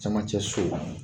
Cɛmancɛ so